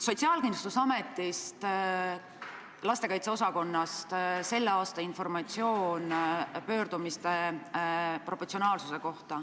Sotsiaalkindlustusameti lastekaitse osakonnast on tulnud selle aasta informatsioon pöördumiste proportsionaalsuse kohta.